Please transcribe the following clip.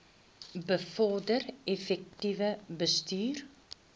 bevorder effektiewe bestuur